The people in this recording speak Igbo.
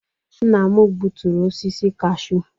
Nna m gbuturu osisi cashew.